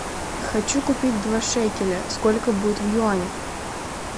хочу купить два шекеля сколько будет в юанях